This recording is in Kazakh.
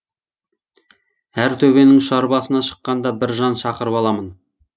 әр төбенің ұшар басына шыққанда бір жан шақырып аламын